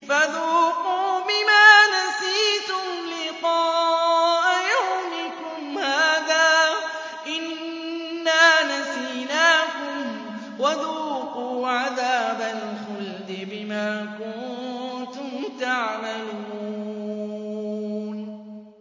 فَذُوقُوا بِمَا نَسِيتُمْ لِقَاءَ يَوْمِكُمْ هَٰذَا إِنَّا نَسِينَاكُمْ ۖ وَذُوقُوا عَذَابَ الْخُلْدِ بِمَا كُنتُمْ تَعْمَلُونَ